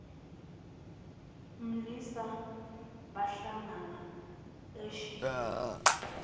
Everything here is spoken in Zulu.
mlisa bahlangana eshibhini